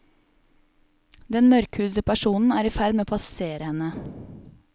Den mørkhudete personen er i ferd med å passerer henne.